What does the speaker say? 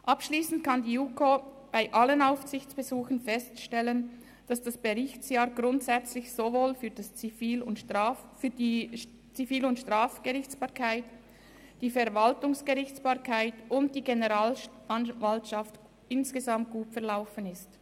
Abschliessend kann die JuKo für alle Aufsichtsbesuche feststellen, dass das Berichtsjahr grundsätzlich sowohl für die Zivil- und die Strafgerichtsbarkeit als auch für die Verwaltungsgerichtsbarkeit und die Generalstaatsanwaltschaft insgesamt gut verlaufen ist.